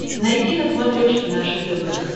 найти на смотрешке наше тв